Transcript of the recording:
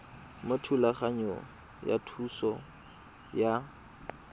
mo thulaganyong ya thuso y